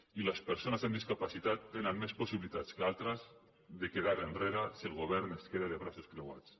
i les persones amb discapacitat tenen més possibilitats que altres de quedar enrere si el govern es queda de braços creuats